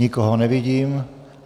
Nikoho nevidím.